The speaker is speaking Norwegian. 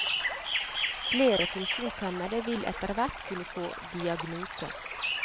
Flere funksjonshemmede vil etterhvert kunne få diagnose.